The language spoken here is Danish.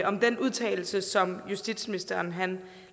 om den udtalelse som justitsministeren